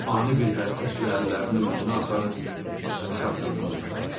O ani bir hərəkətlə əllərini üzünə aparıb uşaq kimi qoxladı.